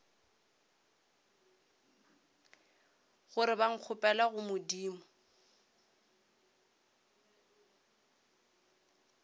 gore ba nkgopelele go modimo